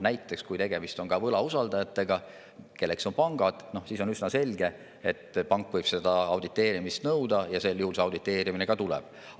Näiteks, kui tegemist on võlausaldajatega, kelleks on pangad, siis on üsna selge, et pank võib auditeerimist nõuda, ja sel juhul see ka tuleb.